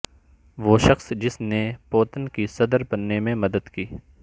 وہ شخص جس نے پوتن کی صدر بننے میں مدد کی